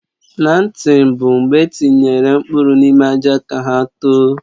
Plantịn bụ mgbe etinyere mkpụrụ n'ime àjà ka hà tòò